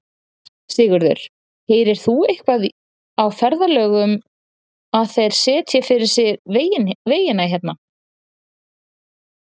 Sigurður: Heyrir þú eitthvað á ferðalöngum að þeir setji fyrir sig vegina hérna?